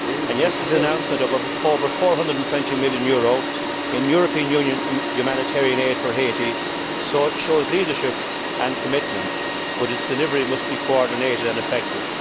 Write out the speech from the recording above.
Yesterday's announcement of over EUR 420 million in European Union humanitarian aid for Haiti shows leadership and commitment, but its delivery must be coordinated and effective.